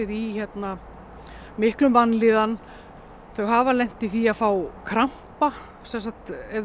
í mikilli vanlíðan þau hafa lent í því að fá krampa ef